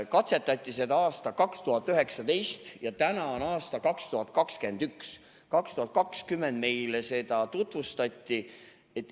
Katsetati seda aastal 2019 ja täna on aasta 2021. Aastal 2020 meile seda tutvustati.